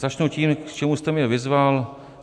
Začnu tím, k čemu jste mě vyzval.